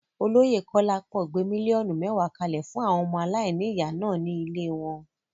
Olóyè Kolapo gbé míllíọ̀nù mẹ́wàá kalẹ̀ fún àwọn ọmọ aláìníyà náà ní ilée wọn.